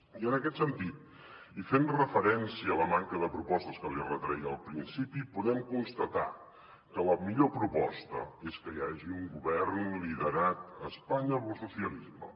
i en aquest sentit i fent referència a la manca de propostes que li retreia al principi podem constatar que la millor proposta és que hi hagi un govern liderat a espanya pel socialisme